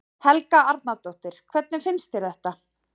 Helga Arnardóttir: Hvernig finnst þér þetta?